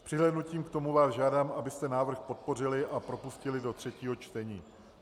S přihlédnutím k tomu vás žádám, abyste návrh podpořili a propustili do třetího čtení.